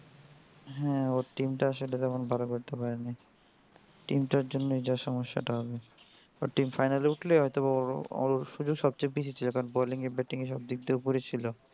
হ্যাঁ ওর team টা আসলে তেমন ভালো করতে পারেনি team টার জন্যেই যা সমস্যাটা হবে ওর team final এ হয়তো ওর সুযোগ সবচেয়ে বেশ ছিল bowling এ batting এ সবদিক দিয়েই উপরেই ছিল.